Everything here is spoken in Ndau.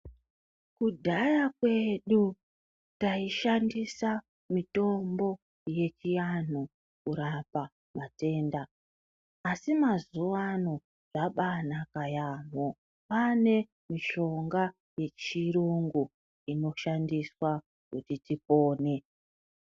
Kudhaya kwedu taishandisa mitombo yechiantu kurapa matenda asi mazuwano zvabanaka yaampho kwaane mishonga yechirungu inoshandiswa kuti tipone.